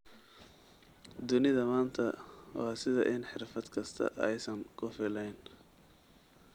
Dunida maanta waa sida in xirfad kastaa aysan ku filneyn.